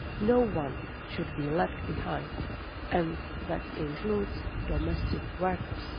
No one should be left behind, and that includes domestic workers.